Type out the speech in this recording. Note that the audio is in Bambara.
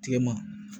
Tilema